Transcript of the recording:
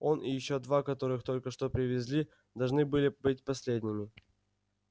он и ещё два которых только что привезли должны были быть последними